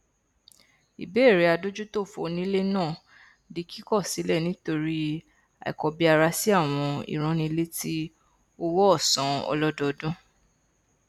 ìbéèrè adójútòfò onílé náà di kíkọ sílẹ nítorí àìkọbiarasi àwọn ìránnilétí owóòsan ọlọdọọdún